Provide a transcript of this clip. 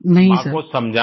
माँ को समझाना